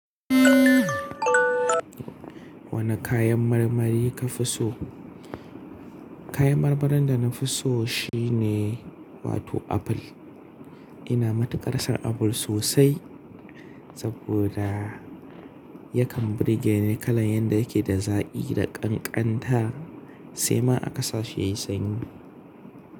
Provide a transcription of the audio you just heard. Wane kayan marmari ka fi so? Kayan marmarin da na fi so shine wato apple. Ina matuƙar son apple sosai saboda yakan birge ni kalan yanda yake da zaƙi da ƙanƙanta sai ma aka sashi yayi sanyi.